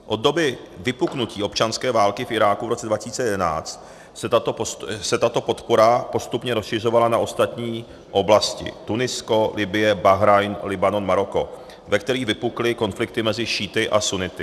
Od doby vypuknutí občanské války v Iráku v roce 2011 se tato podpora postupně rozšiřovala na ostatní oblasti - Tunisko, Libye, Bahrajn, Libanon, Maroko - ve kterých vypukly konflikty mezi šíity a sunnity.